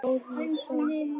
Gos í sjó